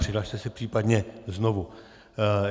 Přihlaste se případně znovu.